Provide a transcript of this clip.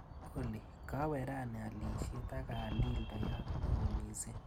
Olly, kawe rani alishet akaal dildoyat neoo missing.